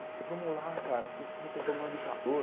Falei, vamos lá, cara, tem pro tem problema de calor.